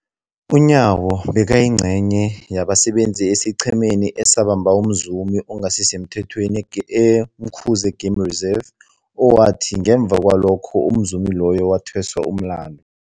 UNyawo bekayingcenye yabasebenza esiqhemeni esabamba umzumi ongasisemthethweni e-Umkhuze Game Reserve, owathi ngemva kwalokho umzumi loyo wathweswa umlandu.